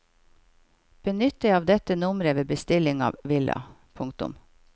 Benytt deg av dette nummeret ved bestilling av villa. punktum